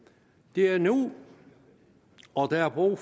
det er nu der er brug